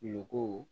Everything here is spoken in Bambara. Go